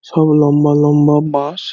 সব লম্বা লম্বা বাস ।